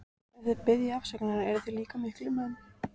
Ef þið biðjið afsökunar eruð þið líka miklir menn.